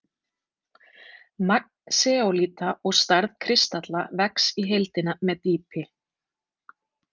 Magn seólíta og stærð kristalla vex í heildina með dýpi.